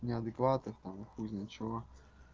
неадекватных там хуй знает чего